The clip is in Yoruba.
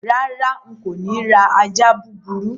Rárá, n kò ni ra ajá búburú